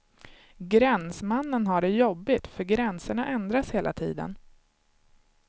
Gränsmannen har det jobbigt, för gränserna ändras hela tiden.